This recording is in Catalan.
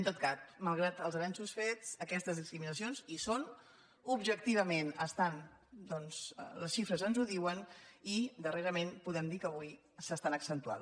en tot cas malgrat els avenços fets aquestes dis·criminacions hi són objectivament doncs les xifres ens ho diuen i darrerament podem dir que avui s’es·tan accentuant